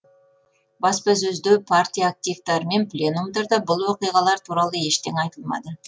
баспасөзде партия активтері мен пленумдарда бұл оқиғалар туралы ештеңе айтылмады